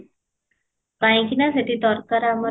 କହିକି ନା ସେଠି ଦରକାର ଆମର ୟେ